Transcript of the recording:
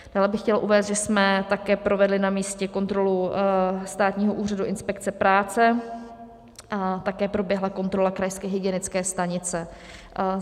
Dále bych chtěla uvést, že jsme také provedli na místě kontrolu Státního úřadu inspekce práce a také proběhla kontrola krajské hygienické stanice.